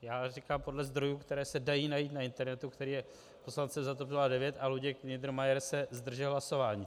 Já říkám podle zdrojů, které se dají najít na internetu, který je poslancem za TOP 09, a Luděk Niedermayer se zdržel hlasování.